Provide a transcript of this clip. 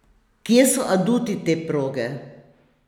Kje so aduti te proge?